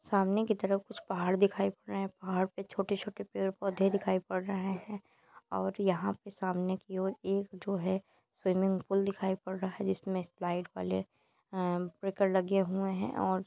सामने की तरफ कुछ पहाड़ दिखाई पड़ रहे है पहाड़ पे छोटे छोटे पेड़ पौधे दिखाई पड़ रहे है और यहाँ पे सामने की और एक जो है स्विमिंग पूल दिखाई पड रहा है जिसमे स्लाइड वाले अ ह ब्रेकर लगे हुए है और --